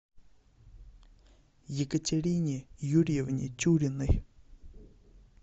екатерине юрьевне тюриной